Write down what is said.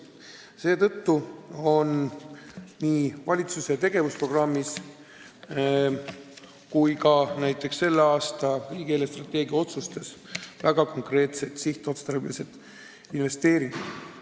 Seetõttu on nii valitsuse tegevusprogrammis kui ka selle aasta riigi eelarvestrateegia otsustes väga konkreetsed sihtotstarbelised investeeringud.